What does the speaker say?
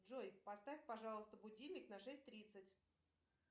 джой поставь пожалуйста будильник на шесть тридцать